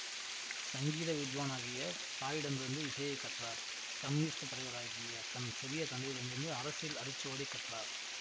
சங்கீத வித்வானாகிய தாயிடமிருந்து இசையைக் கற்றார் கம்யூனிஸ்ட் தலைவராகிய தன் சிறிய தந்தையிடமிருந்து அரசியல் அரிச்சுவடி கற்றார்